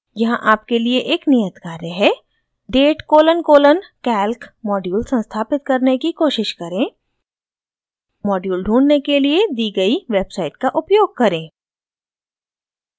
यहाँ आपके लिए एक नियत कार्य है